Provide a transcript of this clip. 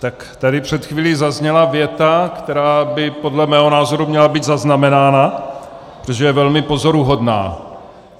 Tak tady před chvílí zazněla věta, která by podle mého názoru měla být zaznamenána, protože je velmi pozoruhodná.